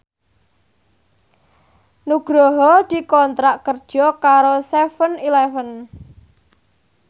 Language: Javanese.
Nugroho dikontrak kerja karo seven eleven